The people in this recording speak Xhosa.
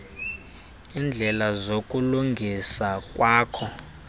iindleko zokulungisa kwakho